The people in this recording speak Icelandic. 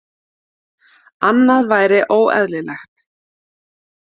Annað væri óeðlilegt